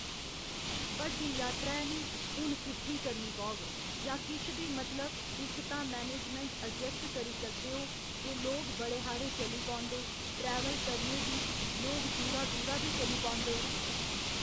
बड्डी यात्रा ऐ निं हुन किट्ठी करनी पौग जा किश बी मतलब इक तां मैनेजमैंट ऐडजेस्ट करी सकदे ओ जे लोग बड़े हारे चली पौंदे टरै्वल करने दी लोग दूरा दूरा बी चली पौंदे।